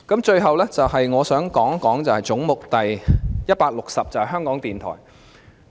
最後，我想談一談總目 160， 即香港電台。